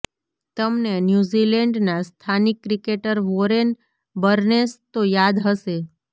તમને ન્યૂીઝેલન્ડના સ્થાનિક ક્રિકેટર વોરેન બર્નેસ તો યાદ હશે